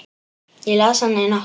Ég las hana í nótt.